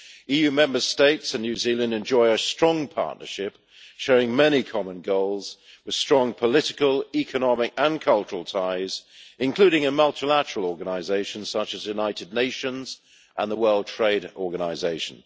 EU Member States and New Zealand enjoy a strong partnership, sharing many common goals, with strong political, economic and cultural ties, including in multilateral organisations such as the United Nations and the World Trade Organisation.